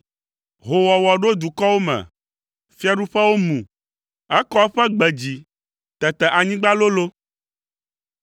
Hoowɔwɔ ɖo dukɔwo me, fiaɖuƒewo mu; ekɔ eƒe gbe dzi, tete anyigba lolo.